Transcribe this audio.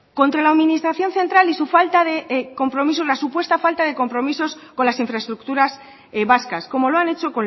contra la administración central y su falta de compromiso la supuesta falta de compromisos con las infraestructuras vascas como lo han hecho